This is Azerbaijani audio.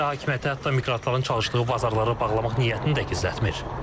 Rusiya hakimiyyəti hətta miqrantların çalışdığı bazarları bağlamaq niyyətini də gizlətmir.